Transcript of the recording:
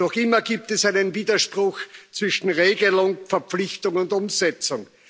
Noch immer gibt es einen Widerspruch zwischen Regelung, Verpflichtung und Umsetzung.